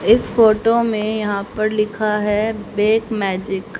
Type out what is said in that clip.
इस फोटो में यहाँ पर लिखा हैं बेक मॅजिक --